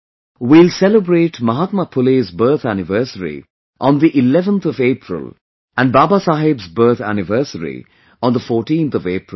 We will celebrate Mahatma Phule's birth anniversary on the 11th of April and Babasaheb's birth anniversary on the 14th of April